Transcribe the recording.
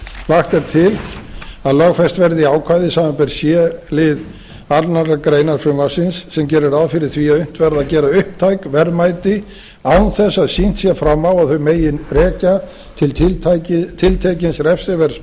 lagt er til að lögfest verði ákvæði samanber c lið annarrar greinar frumvarpsins sem gerir ráð fyrir því að unnt verði að gera upptæk verðmæti án þess að sýnt sé fram á að þau megi rekja til tiltekins refsiverðs